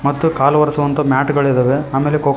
ಮತ್ತು ಕಾಲು ಒರೆಸುವಂತಹ ಮ್ಯಾಟ ಗಳಿದಾವೆ ಅಮೇಲೆ ಕೋ--